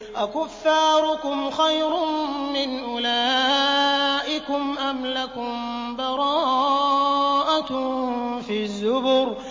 أَكُفَّارُكُمْ خَيْرٌ مِّنْ أُولَٰئِكُمْ أَمْ لَكُم بَرَاءَةٌ فِي الزُّبُرِ